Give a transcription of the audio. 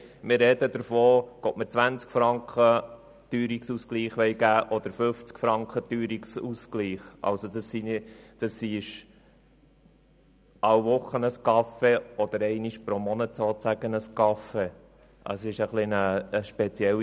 Wir sprechen darüber, ob 20 oder 50 Franken Teuerungsausgleich bezahlt werden, also jede Woche ein Kaffee oder nur einmal im Monat.